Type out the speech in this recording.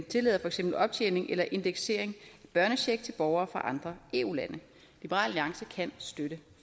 tillader for eksempel optjening eller indeksering af børnecheck til borgere fra andre eu lande liberal alliance kan støtte